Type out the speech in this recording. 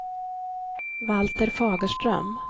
Valter Fagerström